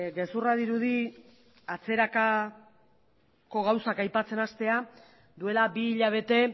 gezurra dirudi atzerakako gauzak aipatzen hastea duela bi hilabete